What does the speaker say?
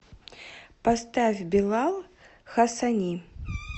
поставь билал хассани